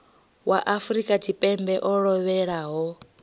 wa afrika tshipembe o lovhelaho